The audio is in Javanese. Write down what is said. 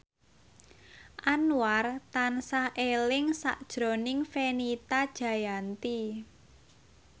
Anwar tansah eling sakjroning Fenita Jayanti